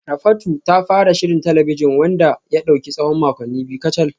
Rafatu ta fara shirin talabijin wanda ya dauki tsawon makonni biyu kacal